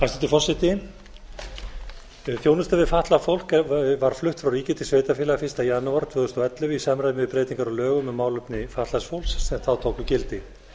forseti þjónusta við fatlað fólk var flutt frá ríki til sveitarfélaga fyrsta janúar tvö þúsund og ellefu í samræmi við breytingar á lögum um málefni fatlaðs fólks sem þá tóku gildi